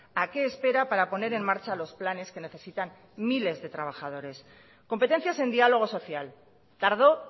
a qué espera para poner en marcha los planes que necesitan miles de trabajadores competencias en diálogo social tardó